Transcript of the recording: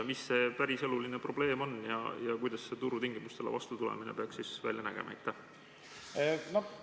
Mis see päriseluline probleem on ja kuidas turu tingimustele vastutulemine peaks välja nägema?